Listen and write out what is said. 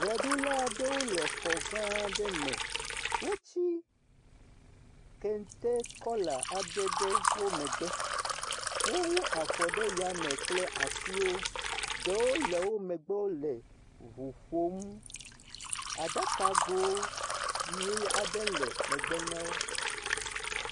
Ʋeɖula aɖewo le xɔ gã aɖe me. Wotsi kente kɔla aɖe ɖe wo megbe. Wowu afɔ ɖe yame kple asiwo. Ɖewo le wo megbe ŋu ƒom. Aɖakago ʋie aɖe le megbe na wo.